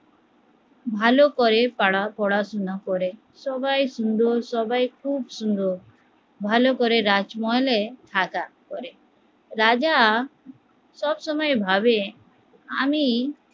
ভালো করে তারা পড়াশুনা করে, সবাই সুন্দর সবাই খুব সুন্দর, ভালো করে রাজমহলে করে, রাজা সবসময় ভাবে আমি